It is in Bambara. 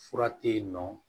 Fura tɛ ye nɔ